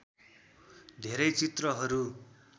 धेरै चित्रहरू